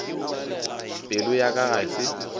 pelo ya ka ga se